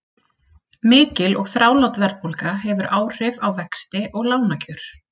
Mikil og þrálát verðbólga hefur áhrif á vexti og lánakjör.